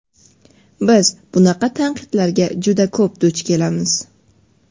biz bunaqa tanqidlarga juda ko‘p duch kelamiz.